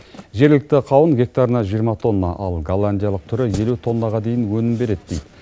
жергілікті қауын гектарына жиырма тонна ал голландиялық түрі елу тоннаға дейін өнім береді дейді